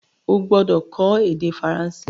O gbọ́dọ̀ kó ède Faransé